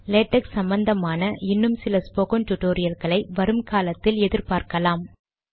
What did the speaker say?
LaTeX சம்பந்தமான இன்னும் சில ஸ்போக்கன் டுடோரியல்களை வரும்காலத்தில் எதிர்பார்க்கலாம்